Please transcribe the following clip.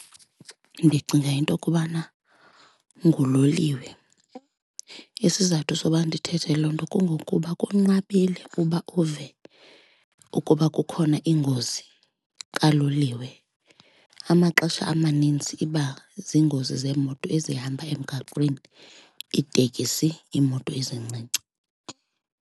Ndicinga into kubana nguloliwe. Isizathu soba ndithethe loo nto kungokuba kunqabile uba uve ukuba kukhona ingozi kaloliwe. Amaxesha amanintsi iba ziingozi zeemoto ezihamba emgaqweni, iitekisi, iimoto ezincinci.